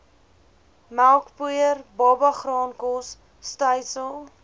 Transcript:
melkpoeier babagraankos stysel